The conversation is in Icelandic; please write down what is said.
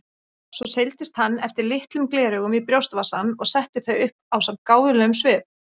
Svo seildist hann eftir litlum gleraugum í brjóstvasann og setti þau upp ásamt gáfulegum svip.